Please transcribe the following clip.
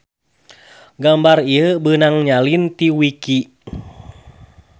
Gambar ieu beunang nyalin ti wiki